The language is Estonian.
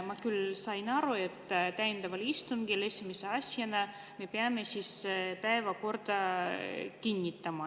Ma sain küll aru, et täiendaval istungil me peame esimese asjana päevakorra kinnitama.